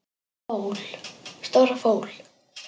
Stóra fól.